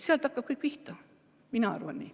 Sealt hakkab kõik pihta, mina arvan nii.